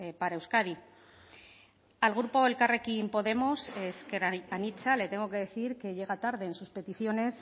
para euskadi al grupo elkarrekin podemos ezker anitza le tengo que decir que llega tarde en sus peticiones